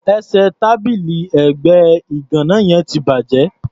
Ẹsẹ̀ tábìlì ẹ̀gbẹ́ ìgàná yẹn ti bàjẹ́.